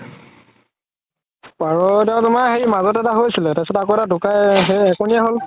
পাৰ কেইতা তুমাৰ হেৰি মাজতে এটা হৈছিলে তাৰ পাছত আকৌ ধুকাই হ'ল